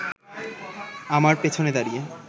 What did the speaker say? আমার পেছনে দাঁড়িয়ে